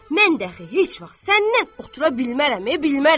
Mən dəxi heç vaxt səndən otura bilmərəm, bilmərəm.